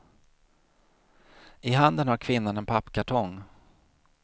I handen har kvinnan en pappkartong.